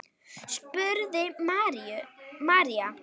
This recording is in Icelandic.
spurði María.